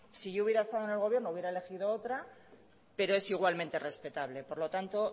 si yo hubiera estado en el gobierno hubiera elegido otra pero es igualmente respetable por lo tanto